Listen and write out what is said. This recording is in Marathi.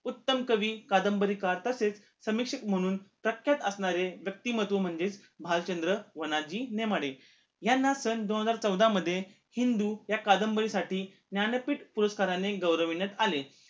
उत्तम कवी, कादंबरीकार तसेच समीक्षक म्हणून सत्यात असणारे व्यक्तिमत्व म्हणजेच भालचंद्र वनाजी नेमाडे ह्यांना सन दोन हजार चौदा मध्ये हिंदु या कादंबरीसाठी ज्ञानपीठ पुरस्काराने गौरवण्यात आले